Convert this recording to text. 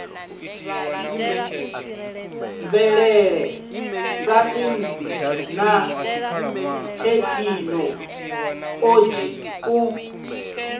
mvelele saintsi na thekhinoḽodzhi u